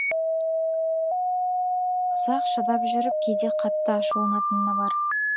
ұзақ шыдап жүріп кейде қатты ашуланатыны бар